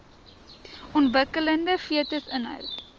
ontwikkelende fetus inhou